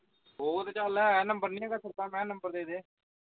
ਉਹ ਤਾਂ ਚਁਲ ਹੈ number ਨਹੀਂ ਹੈਗਾ ਸਿੱਧਾ ਮੈਂ number ਦੇਦੇ